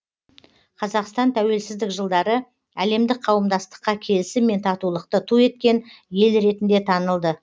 қазақстан тәуелсіздік жылдары әлемдік қауымдастыққа келісім мен татулықты ту еткен ел ретінде танылды